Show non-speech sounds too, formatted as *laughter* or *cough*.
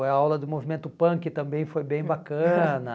A aula do movimento punk também foi bem bacana. *laughs*